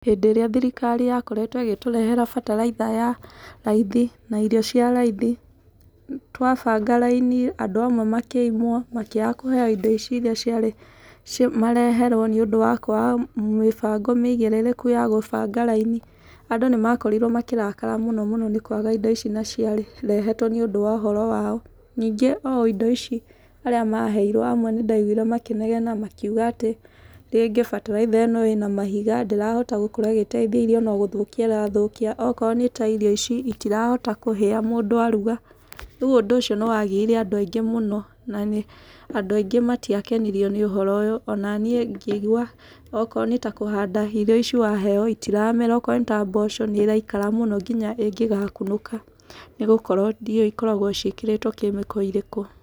Hĩndĩ ĩrĩa thirikari yakoretwo igĩtũrehera bataraitha ya raithi na irio cia raithi, twabanga raini andũ amwe makĩimwo makĩaga kũheo indo ici ciarĩ mareherwo nĩ ũndũ wa kwaga mĩbango mĩigĩrĩrĩku ya gũbanga raini. Andũ nĩmakorirwo makĩrakara mũno mũno nĩ kwaga indo ici na cairehetwo nĩ ũndũ wa ũhoro wao. Ningĩ o indo ici arĩa maheirwo amwe nĩndaigwire makĩnegena makiuga ati, rĩngĩ bataraitha ĩno ĩna mahiga. Ndĩrahota gũkorwo ĩgĩteithia irio no gũthũkia ĩrathũkia. Okorwo nĩ ta irio ici itirahota kũhĩa mũndũ aruga. Rĩu ũndũ ũcio nĩ wagiire andũ aingĩ mũno na andũ aingĩ matiakenirio nĩ ũhoro uyu. Ona niĩ ngĩigua okorwo nĩ ta kũhanda indo ici waheo itiramera. Okorwo nĩ ta mboco nĩ ĩraikara mũno nginya ĩngĩgakunũka nĩ gũkorwo ndiũĩ ikoragwo ciĩkĩrĩtwo kĩmĩko ĩrĩkũ.